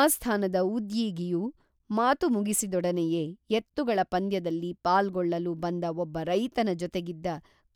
ಆಸ್ಥಾನದ ಉದ್ಯೀಗಿಯು ಮಾತು ಮುಗಿಸಿ ದೊಡನೆಯೇ ಎತ್ತುಗಳ ಪಂದ್ಯದಲ್ಲಿ ಪಾಲ್ಗೊ ಳ್ಳಲು ಬಂದ ಒಬ್ಬ ರೈತನ ಜೊತೆಗಿದ್ದ